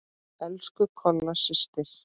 Elsku Kolla systir.